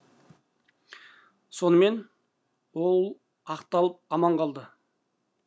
сонымен ол ақталып аман қалады